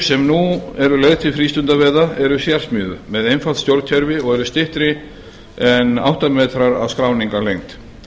sem nú eru leigð til frístundaveiða eru sérsmíðuð með einfalt stjórnkerfi og eru styttri en átta metrar að skráningarlengd